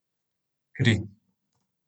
Kri.